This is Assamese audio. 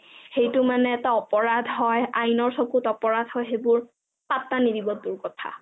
সেইটো মানে এটা অপৰাধ হয় আনাইৰ চকুত অপৰাধ হয় সেইবোৰ অপৰাধ হয় পাত্তা নিদিব তোৰ কথা